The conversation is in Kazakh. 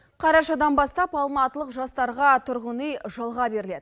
қарашадан бастап алматылық жастарға тұрғын үй жалға беріледі